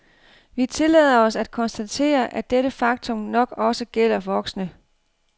Vi tillader os at konstatere, at dette faktum nok også gælder voksne.